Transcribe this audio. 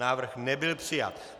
Návrh nebyl přijat.